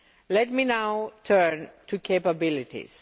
Let me now turn to capabilities.